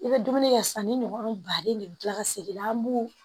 I bɛ dumuni kɛ sisan ni ɲɔgɔ baden de bɛ dilan ka segin an b'o